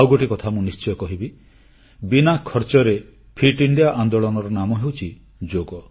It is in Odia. ଆଉ ଗୋଟିଏ କଥା ମୁଁ ନିଶ୍ଚୟ କହିବି ବିନା ଖର୍ଚ୍ଚରେ ଫିଟ୍ ଇଣ୍ଡିଆ ଆନ୍ଦୋଳନର ଆଉ ଏକ ନାମ ହେଉଛି ଯୋଗ